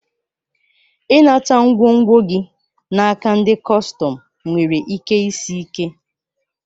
I nata ngwongwo gi naka ndi kọstọm nwere ike isi ike.